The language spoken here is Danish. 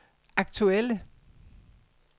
aktuelle